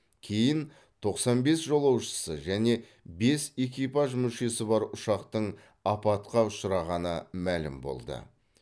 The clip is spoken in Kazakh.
кейін тоқсан бес жолаушысы және бес экипаж мүшесі бар ұшақтың апатқа ұшырағаны мәлім болды